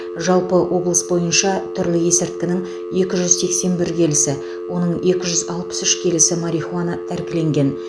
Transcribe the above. жалпы облыс бойынша түрлі есірткінің екі жүз сексен бір келісі оның екі жүз алпыс үш келісі марихуана тәркіленген